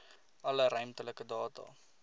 alle ruimtelike data